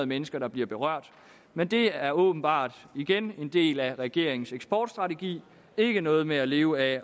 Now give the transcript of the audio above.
mennesker der bliver berørt men det er åbenbart igen en del af regeringens eksportstrategi ikke noget med at leve af